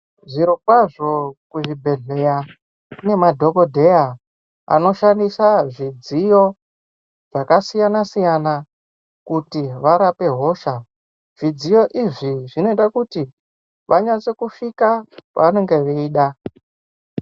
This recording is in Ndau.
Zvirokwazvo kuzvibhedhlera kune madhokodheya anoshandisa zvidziyo zvakasiyana siyana kuti varape hosha zvidziyo izvi zvinoita kuti vanyatse kusvika pavanenge veida.